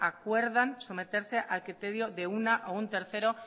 acuerdan someterse al criterio de una o un tercero